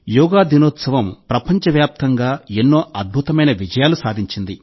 యోగా దినోత్సవం ప్రపంచ వ్యాప్తంగా ఎన్నో అద్భుతమైన విజయాలు సాధించింది